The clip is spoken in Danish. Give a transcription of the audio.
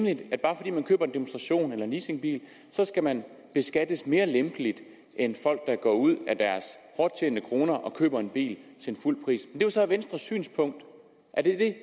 demonstrations eller leasingbil skal man beskattes mere lempeligt end folk der går ud og køber en bil til fuld pris er så venstres synspunkt er det